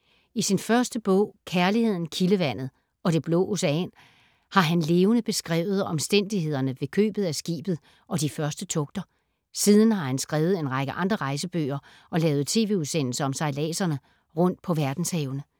I sin første bog ”Kærligheden, kildevandet ... og det blå ocean”, har han levende beskrevet omstændighederne ved købet af skibet og de første togter. Siden har han skrevet en række andre rejsebøger og lavet tv-udsendelse om sejladserne rundt på verdenshavene.